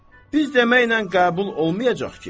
Biz deməklə qəbul olmayacaq ki?